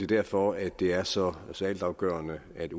derfor at det er så så altafgørende at